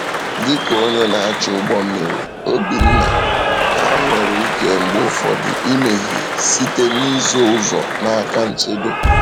Dị ka onye na-achị ụgbọ mmiri, Obinna, ha nwere ike mgbe ụfọdụ imehie site n’ịzọ ụzọ n’aka nchedo.